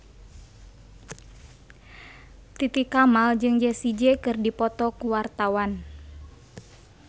Titi Kamal jeung Jessie J keur dipoto ku wartawan